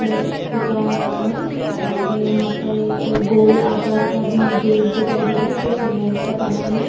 से पुता हुआ है और यहाँ पर एक गोल आकार का भी एक गेट दिखा रहा है जो सीमेंट का बना हैं ।